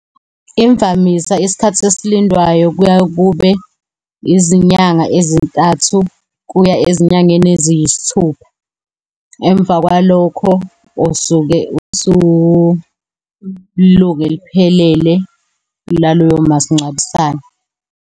Imvamisa isikhathi esilindwayo kuya kube izinyanga ezintathu kuya ezinyangeni eziyisithupha. Emva kwalokho usuke usulunge liphelele laloyo masingcwabisane.